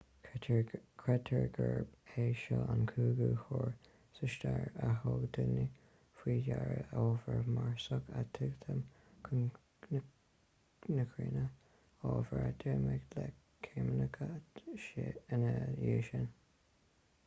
creidtear gurb é seo an cúigiú huair sa stair a thug daoine faoi deara ábhar marsach ag titim chun na cruinne ábhar a deimhníodh le ceimiceáin ina dhiaidh sin